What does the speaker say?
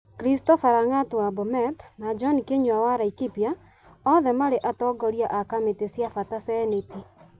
Christopher Lang'at wa Bomet na John Kĩnyua wa Laikipia, othe marĩ atongoria a kamĩtĩ cia bata Seneti.